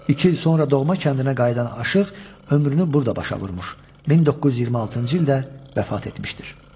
İki il sonra doğma kəndinə qayıdan Aşıq ömrünü burda başa vurmuş, 1926-cı ildə vəfat etmişdir.